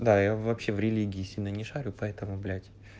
да я вообще в религии сильно не шарю поэтому блять